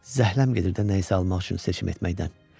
Zəhləm gedirdi də nəyisə almaq üçün seçim etməkdən.